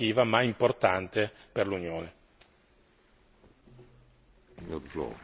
Siamo arrivati ad una soluzione davvero innovativa, ma importante per l'Unione.